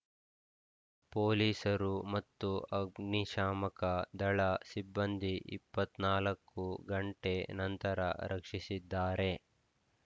ಪೊಲೀಸರು ಮತ್ತು ಅಗ್ನಿಶಾಮಕ ದಳ ಸಿಬ್ಬಂದಿ ಇಪ್ಪತ್ತ್ ನಾಲ್ಕು ಗಂಟೆ ನಂತರ ರಕ್ಷಿಸಿದ್ದಾರೆ